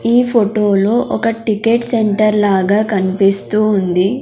ఈ ఫొటో లో ఒక టికెట్ సెంటర్ లాగా కన్పిస్తూ ఉంది.